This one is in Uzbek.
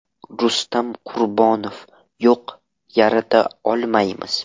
Rustam Qurbonov: Yo‘q, yarata olmaymiz.